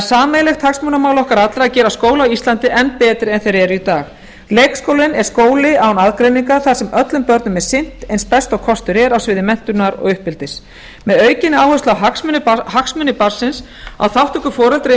sameiginlegt hagsmunamál okkar allra að gera á skóla á íslandi enn betri en þeir eru í dag leikskólinn er skóli án aðgreiningar þar sem öllum börnum er sinnt eins best og kostur er á sviði menntunar og uppeldis með aukinni áherslu á hagsmuni barnsins á þátttöku foreldra í